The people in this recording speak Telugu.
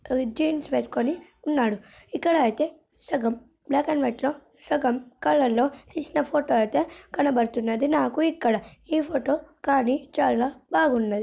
ఆ జీన్స్ వేసుకుని ఉన్నాడు. ఇక్కడ అయితే సగం బ్లాక్ అండ్ వైట్ లో సగం కలర్ లో తీసిన ఫోటో అయితే కనబడుతున్నది నాకు ఇక్కడ. ఈ ఫోటో కానీ చాలా బాగున్నది.